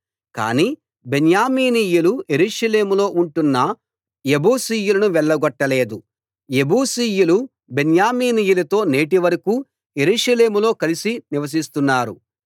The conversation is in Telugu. కాని బెన్యామీనీయులు యెరూషలేములో ఉంటున్న యెబూసీయులను వెళ్లగొట్టలేదు యెబూసీయులు బెన్యామీనీయులతో నేటివరకూ యెరూషలేములో కలిసి నివసిస్తున్నారు